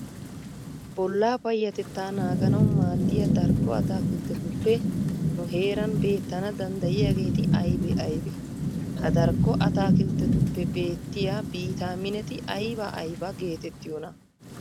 Bollaa payyatettaa naaganawu maaddiya darkko ataakilttetuppe nu heeran beettana danddayiyageeti aybee aybee? Ha darkko ataakilttetuppe beettiya biitaamineti ayba ayba geetettiyonaa?